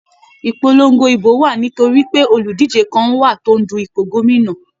Ìpolongo ìbò wá nítorí pé oludije kán wá tó ń dù ipò gómìnà.